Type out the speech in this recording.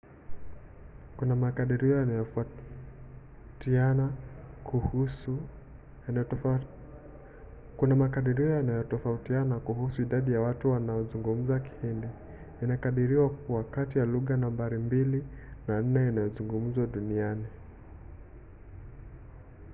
kuna makadirio yanayotofautiana kuhusu idadi ya watu wanaozungumza kihindi. inakadiriwa kuwa kati ya lugha nambari mbili na nne inayozungumzwa zaidi duniani